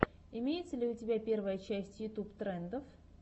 имеется ли у тебя первая часть ютуб трендов